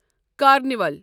carnival